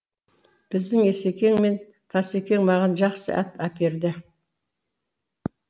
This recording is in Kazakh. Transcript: біздің есекең мен тасекең маған жақсы ат әперді